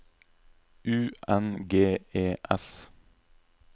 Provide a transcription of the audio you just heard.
U N G E S